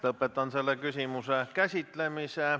Lõpetan selle küsimuse käsitlemise.